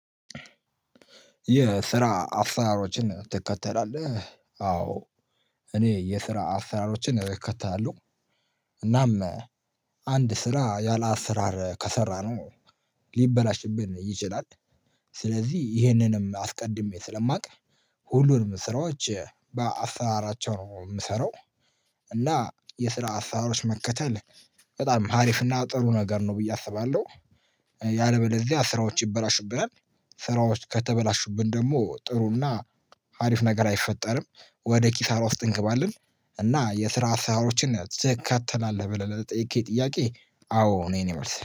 የስራ አሰራሮችን ትከተላለህ? አዎ እኔ የስራ አሰራሮችን እከተላለሁ፤ እናም አንድ ስራ ያላአሰራር ከሰራነው ሊበላሽብን ይችላል። ስለዚህ ይሄንንም አስቀድሜ ስለማውቅ ሁሉንም ስራዎች በአስራራቸው ነው የምሰራው። እና የስራ አሰራሮችን መከተል በጣም አሪፍና ጥሩ ነገር ነው ብዬ አስባለሁ። ያለበለዚያ ስራዎች ይበላሹብናል፤ ስራዎች ከተበላሹብን ደግሞ ጥሩና አሪፍ ነገር አይፈጠርም። ወደ ኪሳራ ውስጥ እንገባለን፤ እና የስራ አስራርዎችን ትከተላለህ ብለህ ለተጠየቅክ ጥያቄ አዎ ነው የእኔ መልስ።